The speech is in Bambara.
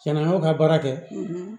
Cɛnna an y'o ka baara kɛ